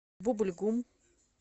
бубль гум